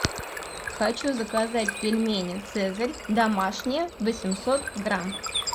хочу заказать пельмени цезарь домашние восемьсот грамм